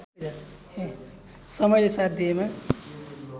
समयले साथ दिएमा